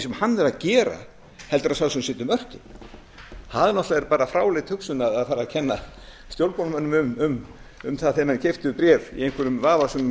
sem hann er að gera heldur en sá sem setur mörkin það er bara fráleit hugsun að fara að kenna stjórnmálamönnum um það þegar menn keyptu bréf í einhverjum vafasömum